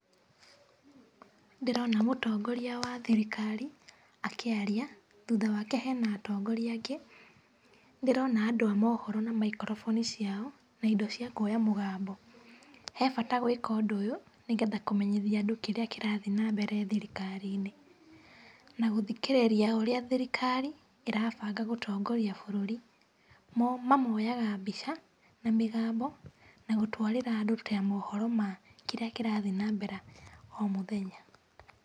Ndĩrona mũtongoria wa thirikari akĩaria, thutha wake hena atongoria angĩ. Nĩ ndĩrona andũ a mohoro na microphone ciao na indo cia kuoya mũgambo. He bata gwĩka ũndũ ũyũ, nĩgetha kũmenyithia andũ kĩrĩa kĩrathiĩ na mbere thirikari-inĩ na gũthikĩrĩria ũrĩa thirikari ĩrabanga gũtongoria bũrũri. Mo mamoyaga mbica na mĩgambo na gũtwarĩra andũ ta mohoro ma kĩrĩa kĩrathiĩ na mbere o mũthenya.